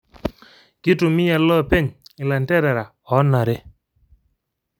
Kitumiya ilopeng ilanterera onare